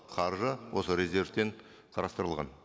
қаржы осы резервтен қарастырылған